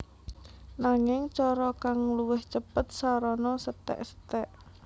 Nanging cara kang luwih cêpêt sarana setékseték